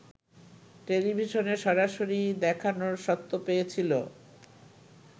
টেলিভিশনে সরাসরি দেখানোর স্বত্ব পেয়েছিল